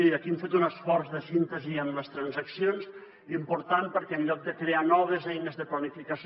i aquí hem fet un esforç de síntesi en les transaccions important perquè en lloc de crear noves eines de planificació